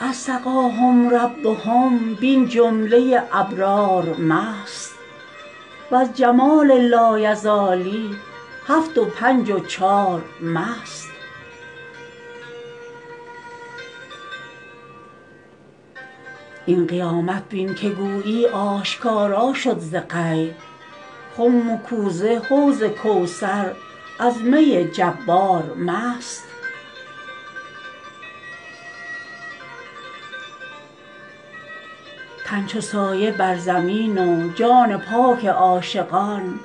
از سقاهم ربهم بین جمله ابرار مست وز جمال لایزالی هفت و پنج و چار مست این قیامت بین که گویی آشکارا شد ز غیب خم و کوزه حوض کوثر از می جبار مست تن چو سایه بر زمین و جان پاک عاشقان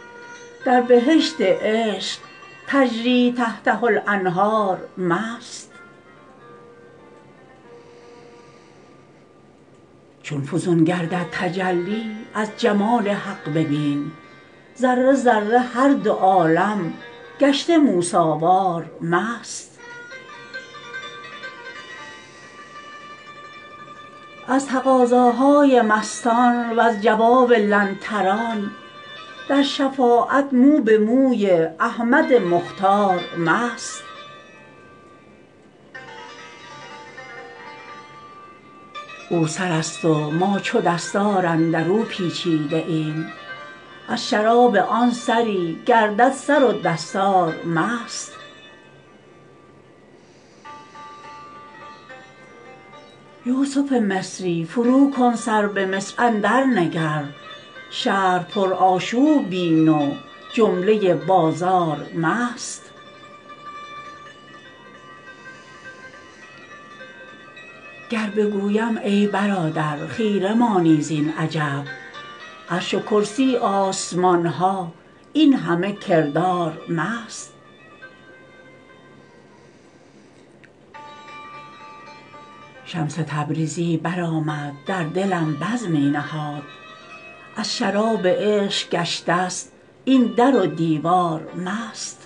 در بهشت عشق تجری تحتها الانهار مست چون فزون گردد تجلی از جمال حق ببین ذره ذره هر دو عالم گشته موسی وار مست از تقاضاهای مستان وز جواب لن تران در شفاعت مو به موی احمد مختار مست او سر است و ما چو دستار اندر او پیچیده ایم از شراب آن سری گردد سر و دستار مست یوسف مصری فروکن سر به مصر اندرنگر شهر پرآشوب بین و جمله بازار مست گر بگویم ای برادر خیره مانی زین عجب عرش و کرسی آسمان ها این همه کردار مست شمس تبریزی برآمد در دلم بزمی نهاد از شراب عشق گشتست این در و دیوار مست